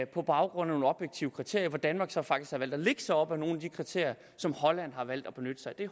på baggrund af nogle objektive kriterier danmark har faktisk valgt at lægge sig op ad nogle af de kriterier som holland har valgt at benytte sig af